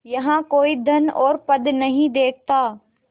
यहाँ कोई धन और पद नहीं देखता